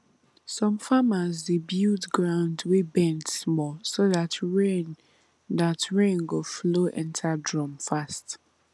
some farmers dey build ground wey bend small so dat rain dat rain go flow enter drum fast